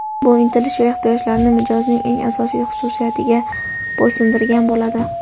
bu intilish va ehtiyojlarni mijozning eng asosiy xususiyatiga bo‘ysundirgan bo‘ladi.